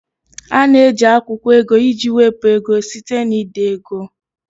A na-eji akwụkwọ ego iji wepụ ego site na ide ego